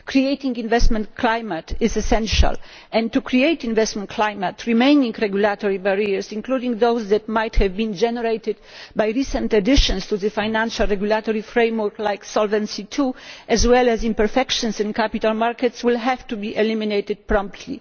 Creating an investment climate is essential and in order to create an investment climate, remaining regulatory barriers including those that might have been generated by recent additions to the financial regulatory framework like Solvency II as well as imperfections in capital markets, will have to be eliminated promptly.